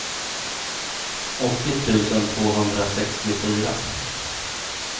åttio tusen tvåhundrasextiofyra